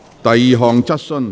第二項質詢。